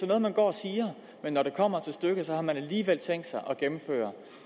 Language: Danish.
noget man går og siger men når det kommer til stykket har man alligevel tænkt sig at gennemføre